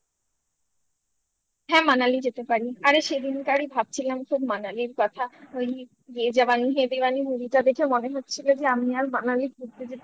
হ্যাঁ Manali যেতে পারি আরে সেদিনকারই ভাবছিলাম খুব Manali র কথা ye jawani ye diwani movie টা দেখে মনে হচ্ছিল যে আমি আর Manali ঘুরতে যেতে পারলাম না।